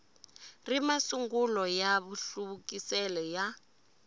ri masungulo ya mahluvukisele ya